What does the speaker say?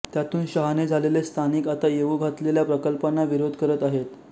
त्यातून शहाणे झालेले स्थानिक आता येऊ घातलेल्या प्रकल्पांना विरोध करत आहेत